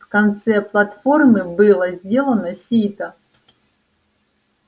в конце платформы было сделано сито